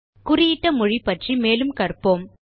குறியிட்ட மொழி பற்றி மேலும் கற்போம்